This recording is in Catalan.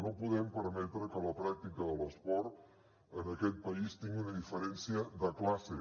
no podem permetre que la pràctica de l’esport en aquest país tingui una diferència de classe